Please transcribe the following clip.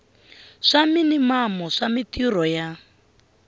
swa minimamu swa mintirho ya